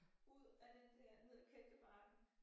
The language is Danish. Ud af den der ned af kælkebakken